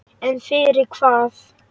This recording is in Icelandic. En fyrir hvað?